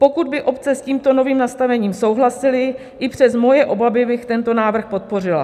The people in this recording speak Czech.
Pokud by obce s tímto novým nastavením souhlasily, i přes moje obavy bych tento návrh podpořila.